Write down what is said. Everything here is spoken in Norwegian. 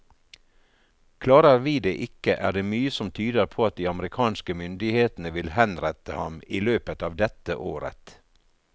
Klarer vi det ikke, er det mye som tyder på at de amerikanske myndighetene vil henrette ham i løpet av dette året.